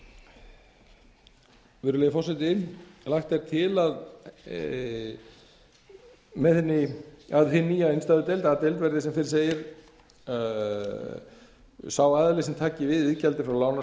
laganna virðulegi forseti lagt er til hin nýja innstæðudeild a deild verð sem fyrr segir sá aðili sem taki við iðgjaldi